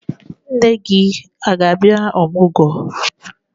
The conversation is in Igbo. Nne gị a ga-abịa ọmụgwọ?